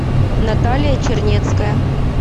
наталья чернецкая